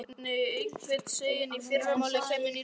Lilla heyrði einhvern segja að í fyrramálið kæmi nýr bátur.